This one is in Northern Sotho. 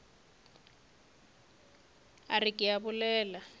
a re ke a bolela